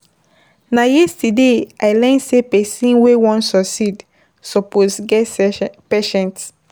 Na yesterday I learn sey pesin wey wan succeed suppose get patience.